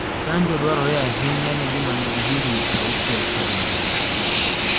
Chanjo dwarore ahinya ne joma nigi higni 60 k thi mbele